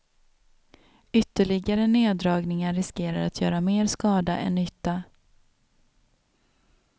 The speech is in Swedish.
Ytterligare neddragningar riskerar att göra mer skada än nytta.